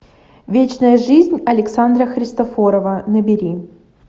вечная жизнь александра христофорова набери